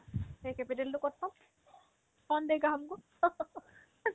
সেই capital তো ক'ত পাম kaun dega humko